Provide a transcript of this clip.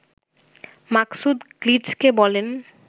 মাকসুদ গ্লিটজকে বলেন